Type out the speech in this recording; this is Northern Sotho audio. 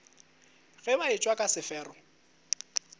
ge ba etšwa ka sefero